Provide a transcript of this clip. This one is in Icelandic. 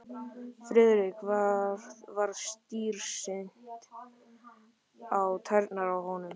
Friðriki varð starsýnt á tærnar á honum.